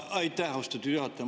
Aitäh, austatud juhataja!